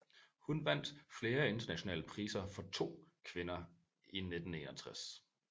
Hun vandt flere internationale priser for To kvinder i 1961